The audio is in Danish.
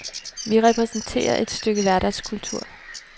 Vi repræsenterer et stykke hverdagskultur.